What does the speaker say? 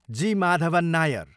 जी. Madhavan Nair